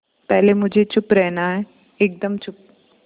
पहले मुझे चुप रहना है एकदम चुप